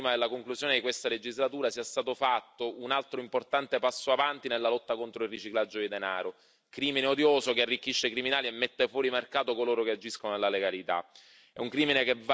Sono felice che prima della conclusione di questa legislatura sia stato fatto un altro importante passo avanti nella lotta contro il riciclaggio di denaro, crimine odioso che arricchisce i criminali e mette fuori mercato coloro che agiscono nella legalità.